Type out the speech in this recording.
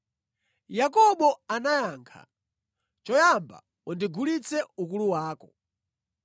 Yakobo anayankha, “Choyamba undigulitse ukulu wako.”